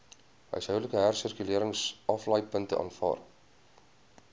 huishoudelike hersirkuleringsaflaaipunte aanvaar